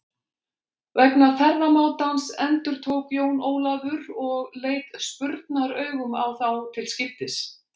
Vegna ferðamátans endurtók Jón Ólafur og leit spurnaraugum á þá til skiptis.